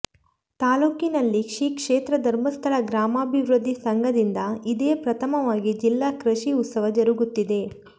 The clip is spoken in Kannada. ತಾಲೂಕಿನಲ್ಲಿ ಶ್ರೀಕ್ಷೇತ್ರ ಧರ್ಮಸ್ಥಳ ಗ್ರಾಮಾಭಿವೃದ್ಧಿ ಸಂಘದಿಂದ ಇದೇ ಪ್ರಥಮವಾಗಿ ಜಿಲ್ಲಾ ಕೃಷಿ ಉತ್ಸವ ಜರುಗುತ್ತಿದೆ